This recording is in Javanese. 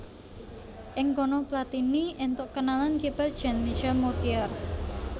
Ing kono Platini éntuk kenalan kiper Jean Michel Moutier